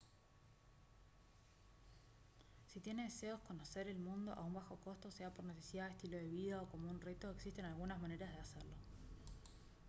si tiene deseos conocer el mundo a un bajo costo sea por necesidad estilo de vida o como un reto existen algunas maneras para hacerlo